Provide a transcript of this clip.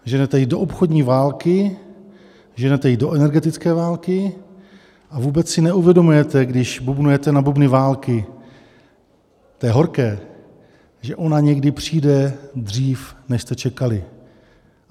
Ženete ji do obchodní války, ženete ji do energetické války a vůbec si neuvědomujete, když bubnujete na bubny války - té horké - že ona někdy přijde dřív, než jste čekali.